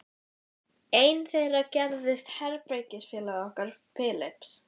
Einn þeirra gerðist herbergisfélagi okkar Philips.